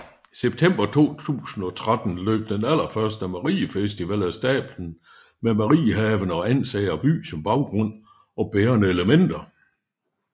September 2013 løb den allerførste Mariefestival af stablen med Mariehaven og Ansager by som baggrund og bærende elementer